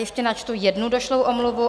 Ještě načtu jednu došlou omluvu.